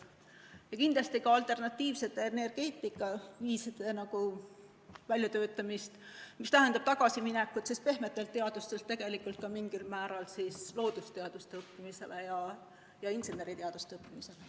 Ja kindlasti ka alternatiivsete energeetikaviiside väljatöötamine, mis tähendab tagasiminekut pehmetelt teadustelt ka mingil määral loodusteaduste õppimisele ja inseneriteaduste õppimisele.